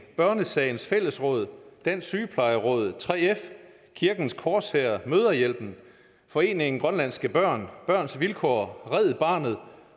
børnesagens fællesråd dansk sygeplejeråd 3f kirkens korshær mødrehjælpen foreningen grønlandske børn børns vilkår red barnet